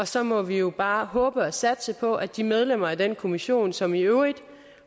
så må vi jo bare håbe på og satse på at de medlemmer af den kommission som i øvrigt